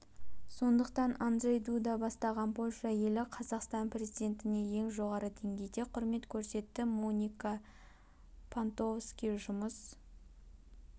сондықтан анджей дуда бастаған польша елі қазақстан президентіне ең жоғары деңгейде құрмет көрсетті моника пнтковски жұмыс